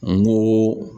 N go